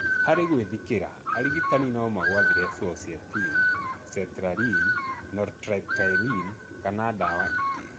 Harĩ gwĩthikĩra, arigitani nomagwathĩre fluoxetine, sertraline, nortriptyline kana ndawa ingĩ